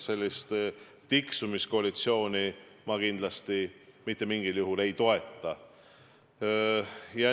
Sellist tiksumiskoalitsiooni ma kindlasti mitte mingil juhul ei toeta.